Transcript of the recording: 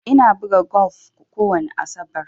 Ina buga golf kowani asabar.